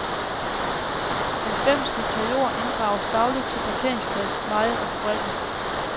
Halvfems hektar jord inddrages dagligt til parkeringsplads, veje og fabrikker.